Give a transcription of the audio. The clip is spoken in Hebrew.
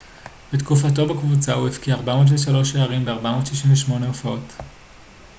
בתקופתו בקבוצה הוא הבקיע 403 שערים ב-468 הופעות